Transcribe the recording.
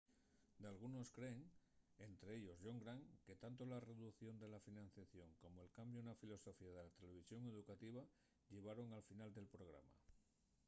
dalgunos creen ente ellos john grant que tanto la reducción de la financiación como'l cambiu na filosofía de la televisión educativa llevaron al final del programa